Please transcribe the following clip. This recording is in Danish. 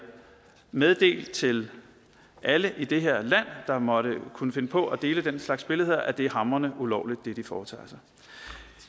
meddelt til alle i det her land som måtte kunne finde på at dele den slags billeder at det er hamrende ulovligt hvad de foretager sig